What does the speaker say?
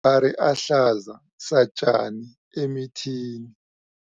ari ahlaza satjani emithini.